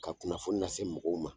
Ka kunnafoni lase se mɔgɔw ma